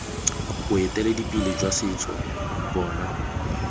boeteledipele jwa setso bo na